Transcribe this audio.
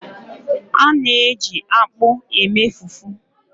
A na-eji akpu eme fufu.